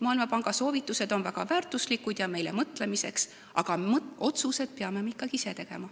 Maailmapanga soovitused on väga väärtuslikud ja meil tuleb nende üle mõelda, aga otsused peame me ikkagi ise tegema.